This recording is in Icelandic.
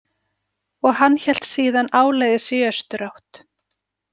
Og hann hélt síðan áleiðis í austurátt.